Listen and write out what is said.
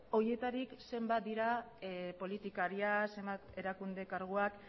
horietarik zenbat dira politikariak zenbat erakunde karguak